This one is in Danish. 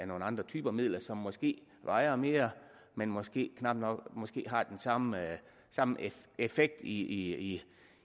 nogle andre typer midler som måske vejer mere men måske knap nok har den samme samme effekt i